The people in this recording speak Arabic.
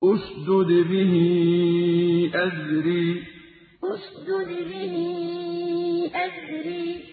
اشْدُدْ بِهِ أَزْرِي اشْدُدْ بِهِ أَزْرِي